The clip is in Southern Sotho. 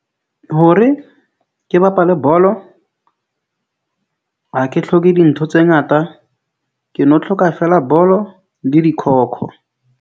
Hore ke bapale bolo, ha ke tlhoke dintho tse ngata, ke no tlhoka feela, bolo le .